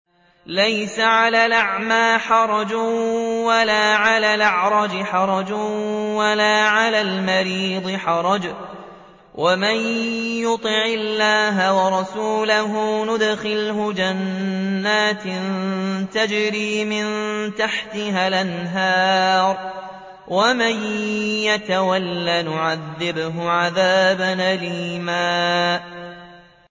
لَّيْسَ عَلَى الْأَعْمَىٰ حَرَجٌ وَلَا عَلَى الْأَعْرَجِ حَرَجٌ وَلَا عَلَى الْمَرِيضِ حَرَجٌ ۗ وَمَن يُطِعِ اللَّهَ وَرَسُولَهُ يُدْخِلْهُ جَنَّاتٍ تَجْرِي مِن تَحْتِهَا الْأَنْهَارُ ۖ وَمَن يَتَوَلَّ يُعَذِّبْهُ عَذَابًا أَلِيمًا